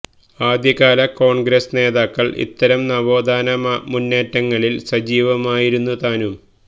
ആദ്യകാല കോണ്ഗ്രസ്സ് നേതാക്കള് ഇത്തരം നവോത്ഥാന മുന്നേറ്റങ്ങളില് സജീവമായിരുന്നു താനും